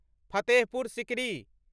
Fatehpur Sikri